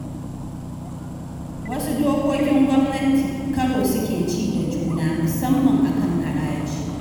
Wasu dokokin gwamnati karo suke ci da juna, musamman a kan haraji.